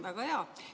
Väga hea!